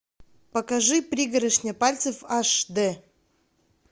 покажи пригоршня пальцев аш дэ